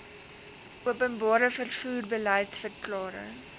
openbare vervoer beliedsverklaring